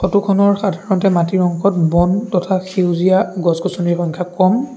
Photo খনৰ সাধাৰণতে মাটি অংশত বন তথা সেউজীয়া গছ-গছনিৰ সংখ্যা কম।